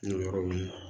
N'o yɔrɔ wuli